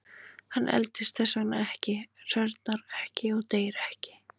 Hann eldist þess vegna ekki, hrörnar ekki og deyr ekki.